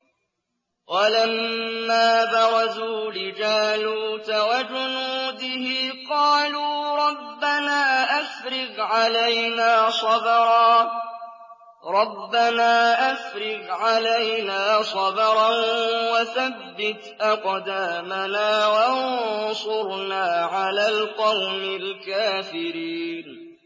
وَلَمَّا بَرَزُوا لِجَالُوتَ وَجُنُودِهِ قَالُوا رَبَّنَا أَفْرِغْ عَلَيْنَا صَبْرًا وَثَبِّتْ أَقْدَامَنَا وَانصُرْنَا عَلَى الْقَوْمِ الْكَافِرِينَ